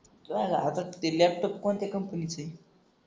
ते लॅपटॉप कोणत्या कंपनीच हे